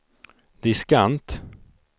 diskant